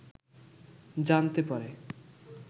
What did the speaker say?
জানতে পারে